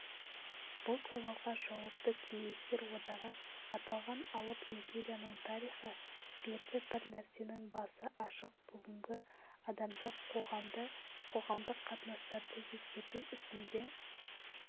бұл сауалға жауапты кеңестер одағы аталған алып империяның тарихы берді бір нәрсенің басы ашық бүгінгі адамзат қоғамды қоғамдық қатынастарды өзгерту ісінде